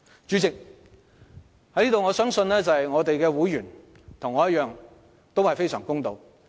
主席，我相信我的會員與我同樣公道。